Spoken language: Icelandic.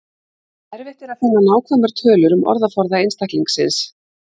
Erfitt er að finna nákvæmar tölur um orðaforða einstaklingsins.